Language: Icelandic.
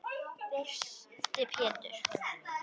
Þyrsti Pétur.